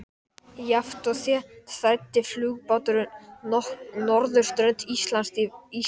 Jafnt og þétt þræddi flugbáturinn norðurströnd Íslands í vesturátt.